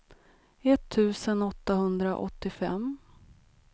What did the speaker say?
etttusen åttahundraåttiofem